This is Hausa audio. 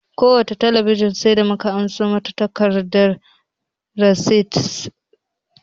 Kowace talabijin sai da mu ka karɓo mata takardar risiti